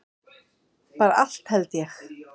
Bara allt held ég.